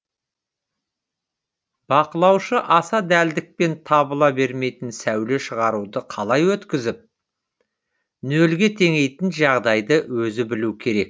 бақылаушы аса дәлдікпен табыла бермейтін сәуле шығаруды қалай өткізіп нөлге теңейтін жағдайды өзі білу керек